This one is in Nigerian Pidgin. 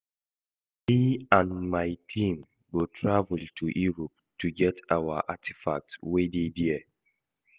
Me and my team go travel to Europe go get our artefacts wey dey there